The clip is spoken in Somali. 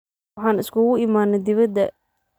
Waxan iskuku iimane dipada.